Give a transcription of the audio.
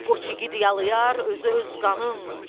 Qoç igid yalıyar özü öz qanın.